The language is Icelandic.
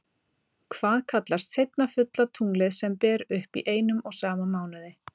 Hvað kallast seinna fulla tunglið sem ber upp í einum og sama mánuði?